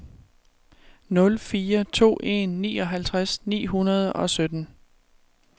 nul fire to en nioghalvtreds ni hundrede og sytten